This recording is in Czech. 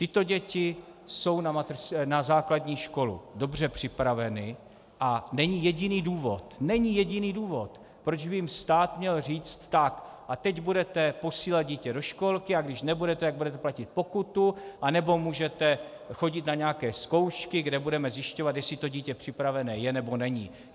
Tyto děti jsou na základní školu dobře připraveny a není jediný důvod, není jediný důvod , proč by jim stát měl říct: Tak a teď budete posílat dítě do školky, a když nebudete, tak budete platit pokutu, anebo můžete chodit na nějaké zkoušky, kde budeme zjišťovat, jestli to dítě připravené je, nebo není.